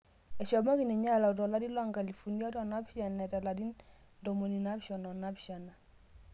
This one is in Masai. Eshomoki ninye alau 2007 eeta ilarin 77